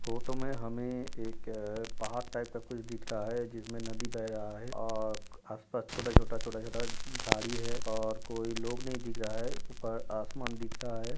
Photo में हमें एक पहाड़ टाईप {type) का कुछ दिख रहा है जिसमे नदी बह रहा है और आस पास छोटा-छोटा छोटा-छोटा झाड़ी है और कोई लोग नही दिख रहा है। ऊपर आसमान दिख रहा है।}